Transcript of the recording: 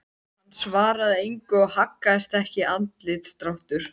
Hann svaraði engu og haggaðist ekki andlitsdráttur.